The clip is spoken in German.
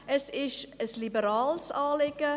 Es ist ein liberales Anliegen.